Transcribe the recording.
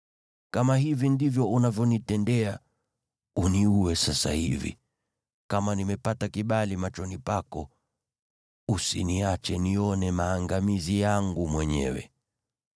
Kama hivi ndivyo unavyonitendea, uniue sasa hivi, yaani kama nimepata kibali machoni pako, wala usiniache nione maangamizi yangu mwenyewe.”